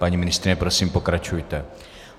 Paní ministryně, prosím, pokračujte.